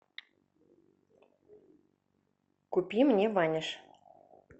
купи мне ваниш